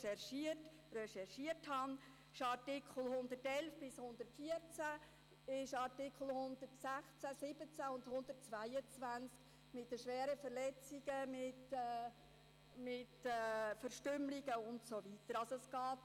Es sind die Artikel 111 bis 114 des Schweizerischen Strafgesetzbuchs (StGB), es sind die Artikel 116 und 117 sowie Artikel 122 mit den schweren Verletzungen, mit Verstümmelungen und so weiter.